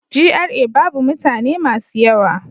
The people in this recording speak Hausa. GRA babu mutane masu yawa.